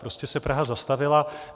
Prostě se Praha zastavila.